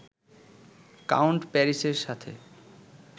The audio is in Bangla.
কাউন্ট প্যারিসের সাথে